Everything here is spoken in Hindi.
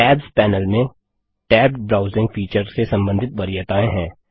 टैब्स पैनल में टैब्ड ब्राउजिंग फीचर से संबंधित वरीयताएँ हैं